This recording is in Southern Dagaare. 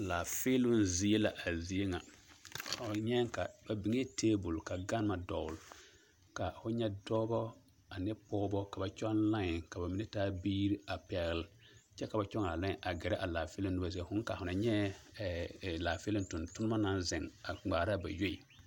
Laafeeloŋ zie la a zie ŋa fo nyɛɛŋ ka ba biŋɛɛ tebol ka gama dogle ka fo nyɛ dɔbɔ ane pɔgebɔ ka ba kyɔŋ laen ka ba mine taa biiri a pɛgle kyɛ ka ba kyɔŋaa laen a gɛrɛ a laafeeloŋ nobɔ zie fooŋ kaa fo na nyɛɛ laafeeloŋ tontonnema naŋ zeŋ a ŋmaara ba yoe.